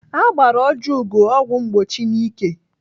Agbara Ojiugo ọgwụ mgbochi n'ike.